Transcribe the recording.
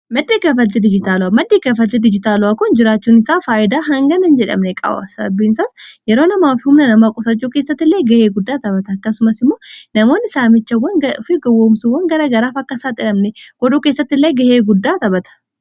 maddei gafalti dijitaalu'a maddii gafaltii dijitaalo'a kun jiraachuun isaa faayidaa hanganan jedha mereqaawasabiin saas yeroo namaa fi humna namaa qusachuu keessattillee ga'ee guddaa taphata akkasumas immoo namoonn isaa michawwan fi gowwoomsuwwan gara garaaf akka isaa xilamne godhuu keessatti illee ga'ee guddaa taphata